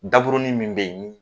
Daburunin min bɛ yen